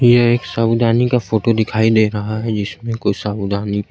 ये एक साबूदानी का फोटो दिखाई दे रहा है जिसमें कुछ साबूदानी --